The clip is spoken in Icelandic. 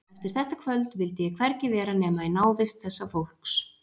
Eftir þetta kvöld vildi ég hvergi vera nema í návist þessa fólks.